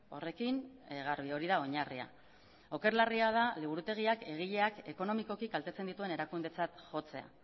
horrekin garbi hori da oinarria oker larria da liburutegiak egileak ekonomikoki kaltetzen dituen erakundetzat jotzea